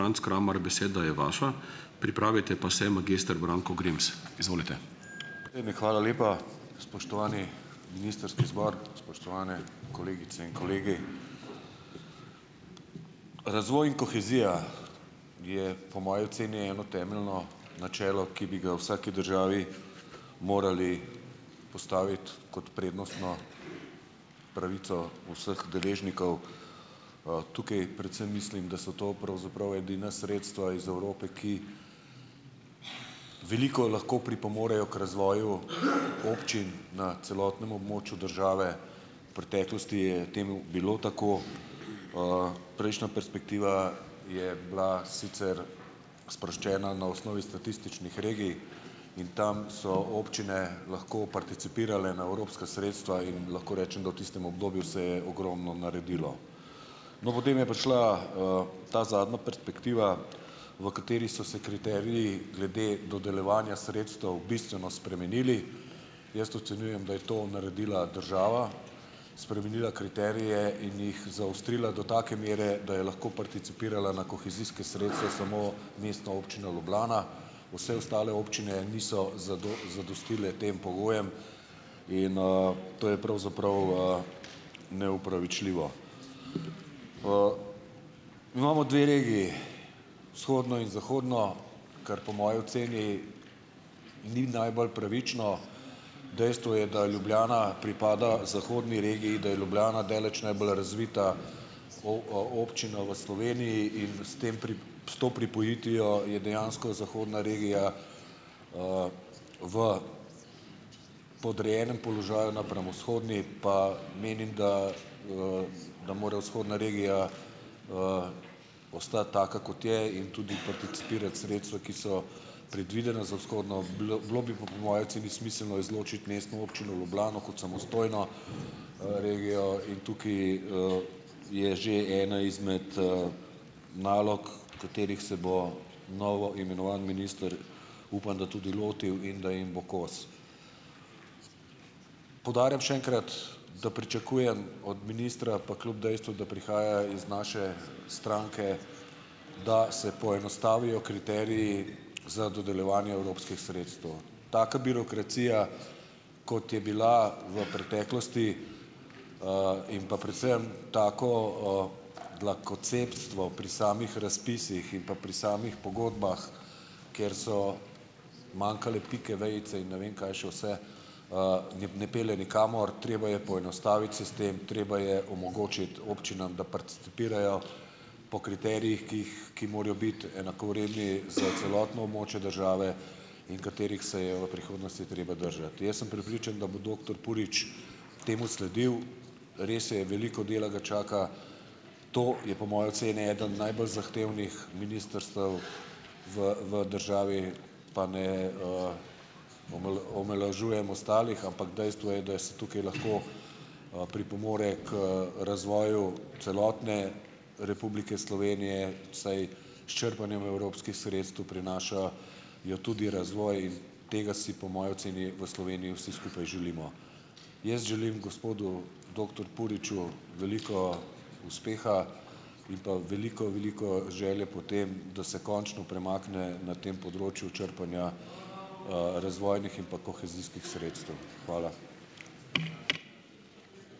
eve, hvala lepa. Spoštovani ministrski zbor, spoštovane kolegice in kolegi! Razvoj in kohezija je po moji oceni eno temeljno načelo, ki bi ga v vsaki državi morali postaviti kot prednostno pravico vseh deležnikov, tukaj predvsem mislim, da so to pravzaprav edina sredstva iz Evrope, ki veliko lahko pripomorejo k razvoju občin na celotnem območju države, v preteklosti je temu bilo tako, prejšnja perspektiva je bila sicer sproščena na osnovi statističnih regij in tam so občine lahko participirale na evropska sredstva in lahko rečem, da v tistem obdobju se je ogromno naredilo. No, potem je prišla, ta zadnja perspektiva, v kateri so se kriteriji glede dodeljevanja sredstev bistveno spremenili, jaz ocenjujem, da je to naredila država, spremenila kriterije in jih zaostrila do take mere, da je lahko participirala na kohezijske sredstva samo Mestna občina Ljubljana, vse ostale občine niso zadostile tem pogojem in, to je pravzaprav, neopravičljivo. Imamo dve regiji, vzhodno in zahodno, kar po moji oceni ni najbolj pravično. Dejstvo je, da Ljubljana pripada zahodni regiji, da je Ljubljana daleč najbolj razvita občina v Sloveniji in s tem s to pripojitvijo je dejansko zahodna regija, v podrejenem položaju napram vzhodni, pa menim, da, da more vzhodna regija, ostati taka, kot je, in tudi participirati sredstva, ki so predvidena za vzhodno, bolj, bilo bi pa po moji oceni smiselno izločiti Mestno občino Ljubljano kot samostojno, regijo in tukaj, je že ena izmed, nalog, katerih se bo novo imenovani minister, upam, da tudi lotil, in da jim bo kos. Poudarjam še enkrat, da pričakujem od ministra pa kljub dejstvu, da prihaja iz naše stranke, da se poenostavijo kriteriji za dodeljevanje evropskih sredstev. Taka birokracija, kot je bila v preteklosti, in pa predvsem tako, dlakocepstvo pri samih razpisih in pa pri samih pogodbah, ker so manjkale pike, vejice in ne vem kaj še vse, jim ne pelje nikamor. Treba je poenostaviti sistem, treba je omogočiti občinam, da participirajo po kriterijih, ki jih, ki morajo biti enakovredni za celotno območje države in katerih se je v prihodnosti treba držati. Jaz sem prepričan, da bo doktor Purič temu sledil. Res je, veliko dela ga čaka. To je po moji oceni eno najbolj zahtevnih ministrstev v, v državi, pa ne, omalovažujem ostalih, ampak dejstvo je, da je se tukaj lahko, pripomore k razvoju celotne Republike Slovenije, saj s črpanjem evropskih sredstev prinaša jo tudi razvoj. Tega si po moji oceni v Sloveniji vsi skupaj želimo. Jaz želim gospodu doktor Puriču veliko uspeha in pa veliko veliko želje po tem, da se končno premakne na tem področju črpanja razvojnih in pa kohezijskih sredstev. Hvala.